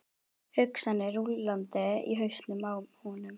Hugsanirnar rúllandi í hausnum á honum.